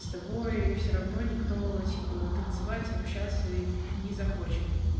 с тобой всё равно никто типа танцевать и общаться не захочет